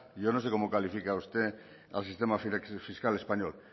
yo no sé cómo califica usted al sistema fiscal español